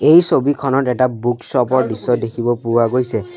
এই ছবিখনত এটা বুক শ্ব'প ৰ দৃশ্য দেখিব পোৱা গৈছে।